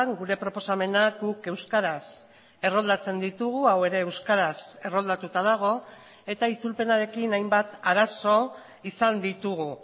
gure proposamenak guk euskaraz erroldatzen ditugu hau ere euskaraz erroldatuta dago eta itzulpenarekin hainbat arazo izan ditugu